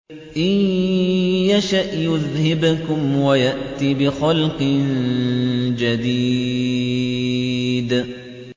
إِن يَشَأْ يُذْهِبْكُمْ وَيَأْتِ بِخَلْقٍ جَدِيدٍ